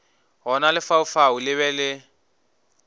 gona lefaufau le be le